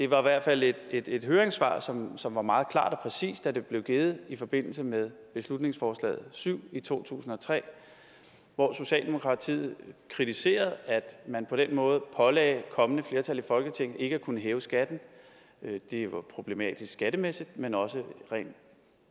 var i hvert fald et et høringssvar som som var meget klart og præcist da det blev givet i forbindelse med beslutningsforslaget syv i to tusind og tre hvor socialdemokratiet kritiserede at man på den måde pålagde kommende flertal i folketinget ikke at kunne hæve skatten det var problematisk skattemæssigt men også rent